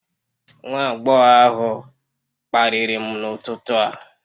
Nwa agbọghọ ahụ kparịrị m n'ụtụtụ a